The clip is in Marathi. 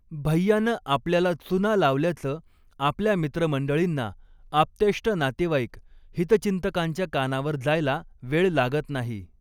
भैय्यानं आपल्याला चुना लावल्याचं आपल्या मित्रमंडळींना, आप्तेष्ट नातेवाईक, हितचिंतकांच्या कानावर जायला वेळ लागत नाही.